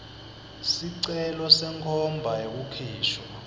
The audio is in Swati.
sicelo senkhomba yekukhishwa